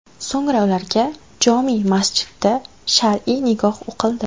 So‘ngra ularga jome’ masjidda shar’iy nikoh o‘qildi.